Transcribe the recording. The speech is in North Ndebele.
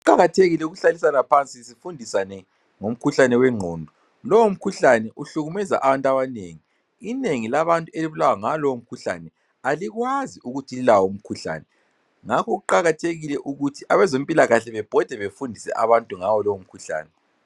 Kuqakathekile ukuhlalisana phansi sifundisane ngomkhuhlane wengqondo. Lowo mkhuhlane uhlukumeza abantu abanengi. Inengi labantu elibulawa ngawolowo mkhuhlane alikwazi ukuthi lilawo umkhuhlane ngakho kuqakathekile ukuthi abezempilakahle bebhode befundise abantu ngawolowo mkhuhlane.